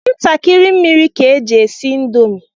Ntakịrị mmiri ka eji esi indomi.